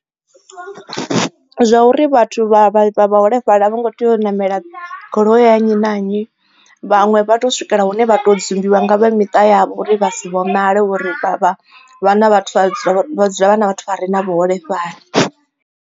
Zwa uri vhathu vha vhuholefhali a vho ngo tea u ṋamela goloi ya nnyi na nnyi vhaṅwe vha tea u swikela hune vha to dzumbiwa nga vha miṱa yavho uri vha si vhonale uri vha na vhathu vha dzula na vhathu vha re na vhuholefhali.